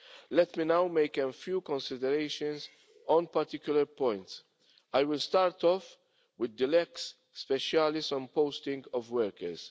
Let me now make a few considerations on particular points. I will start with the lex specialis on posting of workers.